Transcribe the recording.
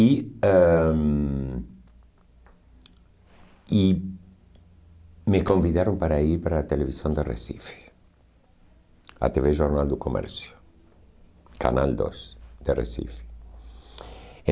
E ãh e me convidaram para ir para a televisão de Recife, a tê vê Jornal do Comércio, Canal dois de Recife.